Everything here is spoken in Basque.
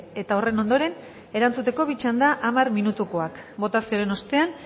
eta horren ondoren erantzuteko bi txanda hamar minutukoak botazioaren ostean